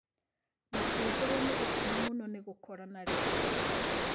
Makĩihũrwo nĩ gĩkeno mũno nĩ gũkorana rĩngĩ